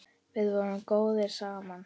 Við vorum góðir saman.